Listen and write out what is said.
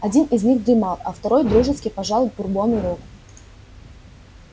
один из них дремал а второй дружески пожал бурбону руку